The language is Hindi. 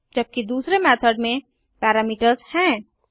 जबकि दूसरे मेथड में पैरामीटर्स हैं